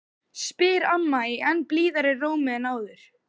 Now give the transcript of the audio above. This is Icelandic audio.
spyr amma í enn blíðari rómi en áður.